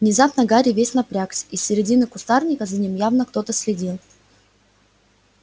внезапно гарри весь напрягся из середины кустарника за ним явно кто-то следил